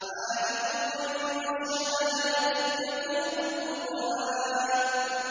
عَالِمُ الْغَيْبِ وَالشَّهَادَةِ الْكَبِيرُ الْمُتَعَالِ